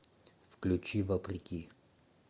включи вопреки